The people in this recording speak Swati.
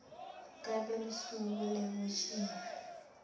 ngabe lusuku lwekugcina